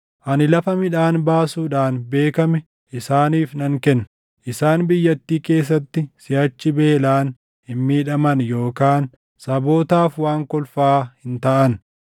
Ani lafa midhaan baasuudhaan beekame isaaniif nan kenna; isaan biyyattii keessatti siʼachi beelaan hin miidhaman yookaan sabootaaf waan kolfaa hin taʼan.